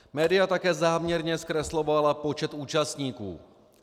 Média také záměrně zkreslovala počet účastníků.